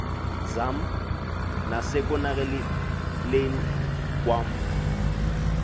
zam nasekonakaleni kwam